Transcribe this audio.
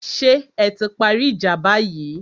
Ṣé ẹ ti parí ìjà báyìí?